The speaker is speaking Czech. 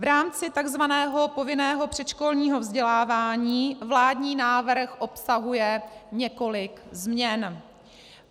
V rámci tzv. povinného předškolního vzdělávání vládní návrh obsahuje několik změn.